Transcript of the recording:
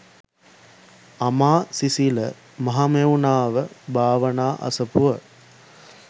අමාසිසිල මහමෙව්නාව භාවනා අසපුව